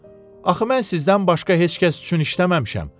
Axı mən sizdən başqa heç kəs üçün işləməmişəm.